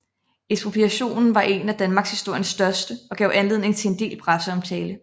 Ekspropriationen var en af danmarkshistoriens største og gav anledning til en del presseomtale